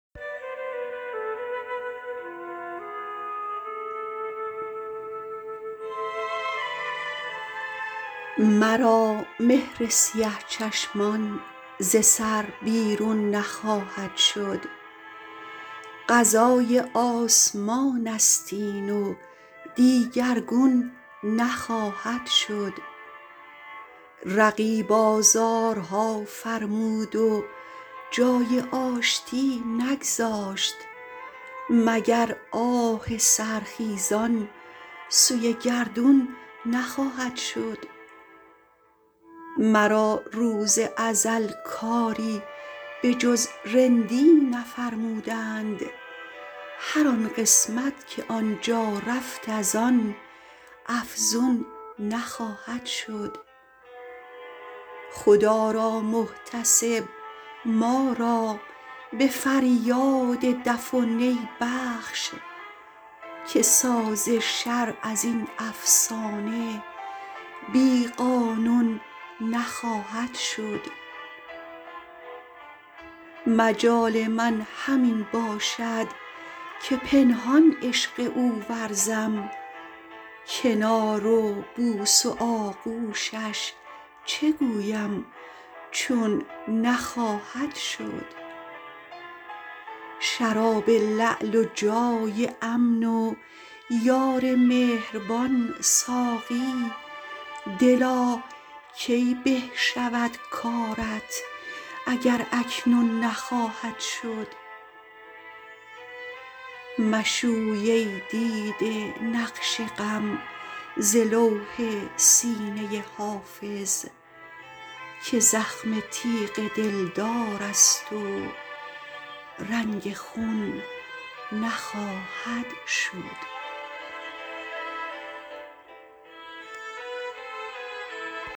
مرا مهر سیه چشمان ز سر بیرون نخواهد شد قضای آسمان است این و دیگرگون نخواهد شد رقیب آزارها فرمود و جای آشتی نگذاشت مگر آه سحرخیزان سوی گردون نخواهد شد مرا روز ازل کاری به جز رندی نفرمودند هر آن قسمت که آن جا رفت از آن افزون نخواهد شد خدا را محتسب ما را به فریاد دف و نی بخش که ساز شرع از این افسانه بی قانون نخواهد شد مجال من همین باشد که پنهان عشق او ورزم کنار و بوس و آغوشش چه گویم چون نخواهد شد شراب لعل و جای امن و یار مهربان ساقی دلا کی به شود کارت اگر اکنون نخواهد شد مشوی ای دیده نقش غم ز لوح سینه حافظ که زخم تیغ دلدار است و رنگ خون نخواهد شد